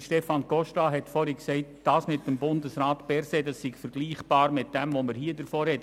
Stefan Costa hat gesagt, die Sache mit Bundesrat Berset sei vergleichbar mit dem, worüber wir jetzt sprechen.